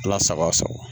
Ala sago a sago